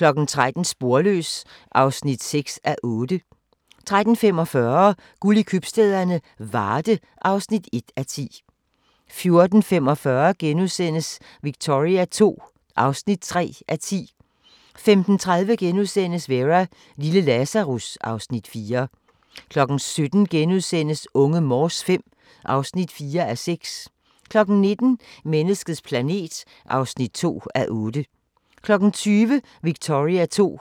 13:00: Sporløs (6:8) 13:45: Guld i købstæderne - Varde (1:10) 14:45: Victoria II (3:10)* 15:30: Vera: Lille Lazarus (Afs. 4)* 17:00: Unge Morse V (4:6)* 19:00: Menneskets planet (2:8) 20:00: Victoria II (4:10)